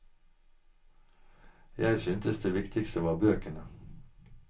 Jeg syntes det viktigste var bøkene.